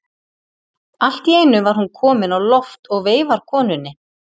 Allt í einu er hún komin á loft og veifar konunni.